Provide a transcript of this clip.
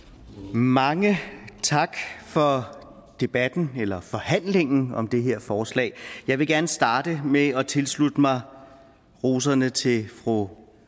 mange tak for debatten eller forhandlingen om det her forslag jeg vil gerne starte med at tilslutte mig roserne til fru